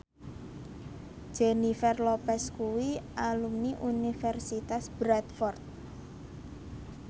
Jennifer Lopez kuwi alumni Universitas Bradford